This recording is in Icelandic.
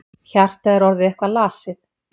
Hjartað er orðið eitthvað lasið.